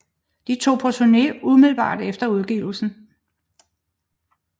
De tog på turné umiddelbart efter udgivelsen